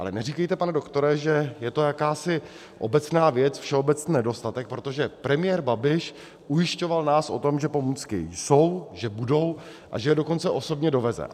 Ale neříkejte, pane doktore, že je to jakási obecná věc, všeobecný nedostatek, protože premiér Babiš ujišťoval nás o tom, že pomůcky jsou, že budou, a že je dokonce osobně doveze.